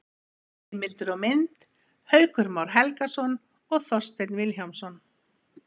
Heimildir og mynd: Haukur Már Helgason og Þorsteinn Vilhjálmsson.